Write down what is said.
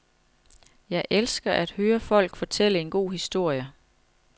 Jeg elsker at høre folk fortælle en god historie.